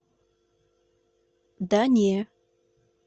да не